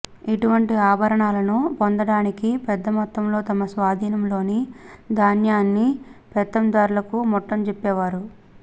ఇటువంటి ఆభరణాలను పొందడానికి పెద్దమొత్తంలో తమ స్వాధీనంలోని ధాన్యాన్ని పెత్తందార్లు ముట్టజెప్పేవారు